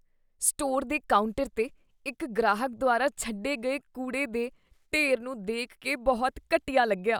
Store ਦੇ counter 'ਤੇ ਇਕ ਗ੍ਰਾਹਕ ਦੁਆਰਾ ਛੱਡੇ ਗਏ ਕੂੜੇ ਦੇ ਢੇਰ ਨੂੰ ਦੇਖ ਕੇ ਬਹੁਤ ਘਟੀਆ ਲੱਗਿਆ।